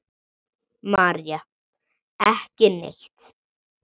María: Ekki neitt.